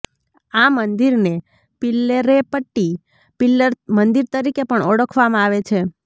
આ મંદિરને પિલ્લરેપટ્ટી પીલર મંદિર તરીકે પણ ઓળખવામાં આવે છે